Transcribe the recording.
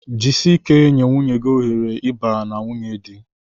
Jisie ike nye nwunye gị ohere ịba na nwunye di